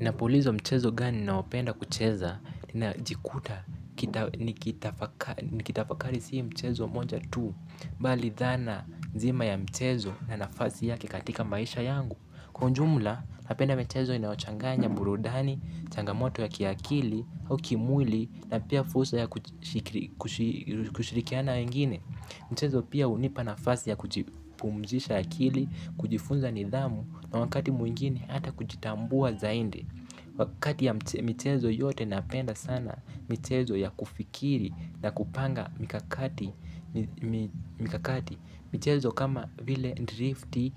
Napulizwa mchezo gani naopenda kucheza, inajikuta, nikitafakari si mchezo moja tu, bali dhana nzima ya mchezo na nafasi yake katika maisha yangu. Kwa ujumula, napenda michezo inayochanganya, burudani, changamoto ya kiakili au kimuli na pia fusa ya kushirikiana wengine. Mchezo pia unipa nafasi ya kujipumzisha akili, kujifunza nidhamu, na wakati mwingine hata kujitambua zaindi. Kati ya michezo yote napenda sana michezo ya kufikiri na kupanga mikakati. Mikakati michezo kama vile drifti,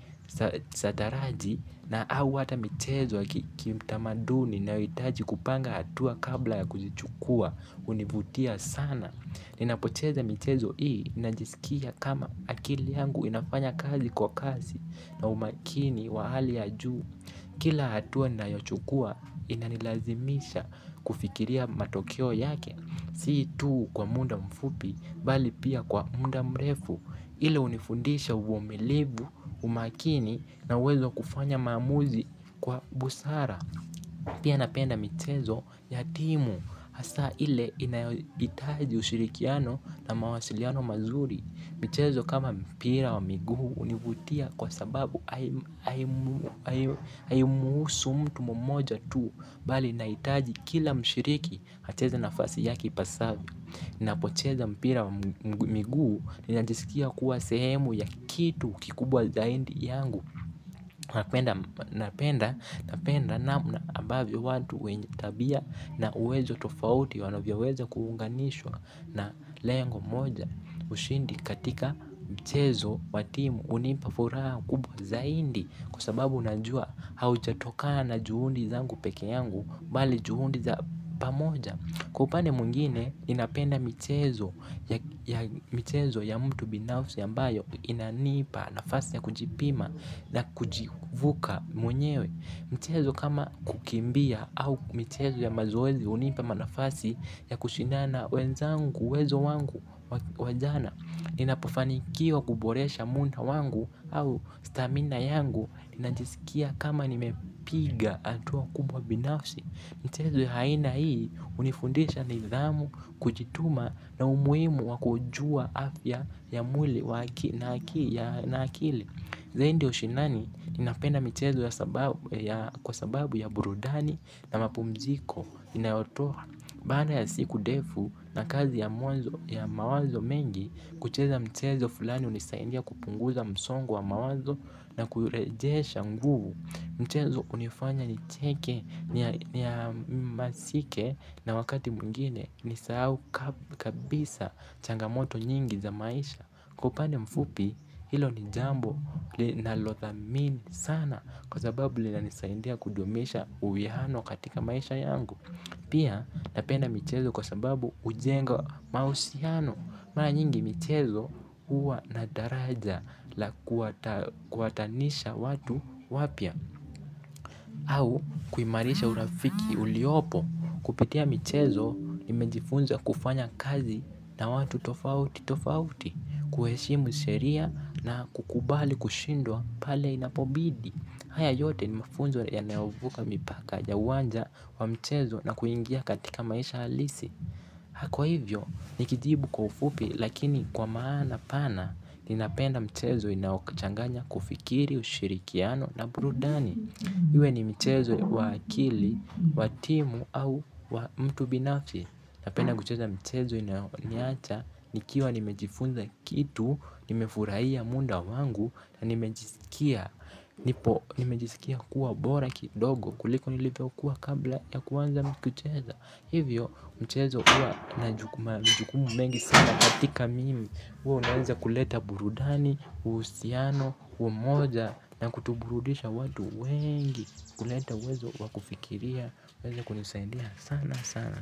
sataraji, na au ata michezo ya kikiutamaduni nayo hitaji kupanga hatua kabla ya kuzichukua, hunivutia sana. Inapocheza michezo ii, inajisikia kama akili yangu inafanya kazi kwa kasi na umakini wa hali ya juu. Kila hatua ninayochukua, inanilazimisha kufikiria matokeo yake. Si tuu kwa munda mfupi, bali pia kwa munda mrefu. Ile unifundisha ubumilibu umakini na uwezo kufanya maamuzi kwa busara. Pia napenda michezo, yatimu. H, asa ile, inayoitaji ushirikiano na mawasiliano mazuri. Michezo kama mpira wa miguu unibutia kwa sababu ayimuhusu mtu mmoja tu. Bali inahitaji kila mshiriki, acheze nafasi yake ipasavyo. Napocheza mpira wa miguu ninajisikia kuwa sehemu ya kitu kikubwa zaindi yangu. Napenda napenda namna ambavyo watu wenye tabia na uwezo tofauti wanavyoweza kuunganishwa na lengo moja ushindi katika mchezo watimu unipafuraha kubwa zaindi. Kwa sababu najua haujatoka na juhundi zangu peke yangu, bali juhundi za pamoja. Kwa upane mwingine, ninapenda michezo ya mtu binafsi ambayo inanipa nafasi ya kujipima. Na kujivuka mwenyewe. Mchezo kama kukimbia au michezo ya mazoezi hunipa manafasi ya kushindana na wenzangu uwezo wangu wajana. Inapofanikiwa kuboresha munda wangu au stamina yangu inajisikia kama nimepiga hatua kubwa binafasi. Mchezo ya haina hii, hunifundisha nidhamu, kujituma na umuhimu wakujua afya ya mwili na akili. Zaindi ya ushinani inapenda michezo kwa sababu ya burudani na mapumziko inayoto. Baada ya siku defu na kazi ya mawazo mengi kucheza mchezo fulani hunisaindia kupunguza msongo wa mawazo na kurejesha nguvu. Mchezo unifanya ni cheke ni ya masike na wakati mwingine ni sahau kabisa, changamoto nyingi za maisha. Kwa upande mfupi, hilo ni jambo nalotha mini sana. Kwa sababu lina nisaindia kudumisha uwihano katika maisha yangu. Pia, napenda michezo kwa sababu ujenga mahusiano. Mara nyingi, michezo uwa nadaraja la kuwatanisha watu, wapya au, kuimarisha urafiki, uliopo. Kupitia michezo, nimejifunza kufanya kazi na watu tofauti tofauti, kuheshimu sheria na kukubali kushindwa, pale inapobidi. Haya yote ni mafunzo yanayovuka mipaka ya uwanja wa mchezo na kuingia katika maisha halisi. Hakwa hivyo, nikijibu kwa ufupi, lakini kwa maana pana, ninapenda mchezo inaokchanganya kufikiri, ushirikiano, na burudani. Iwe ni mchezo wa akili, watimu, au wa mtu binafsi. Napenda kucheza mchezo inayoniacha, nikiwa nimejifunza kitu, nimefurahiya munda wangu, na nimejisikia kuwa bora kidogo kuliko nilivyo kuwa kabla ya kuanza mkicheza. Hivyo mchezo huwa na majukumu mengi sana katika mimi huwa unaweza kuleta burudani, uhusiano, umoja na kutuburudisha watu wengi. Kuleta uwezo wakufikiria, uweze kunisaidia sana sana.